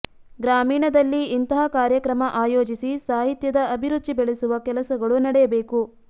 ಗ್ರಾಮೀಣದಲ್ಲಿ ಇಂತಹ ಕಾರ್ಯಕ್ರಮ ಆಯೋಜಿಸಿ ಸಾಹಿತ್ಯದ ಅಭಿರುಚಿ ಬೆಳೆಸುವ ಕೆಲಸಗಳು ನಡೆಯಬೇಕು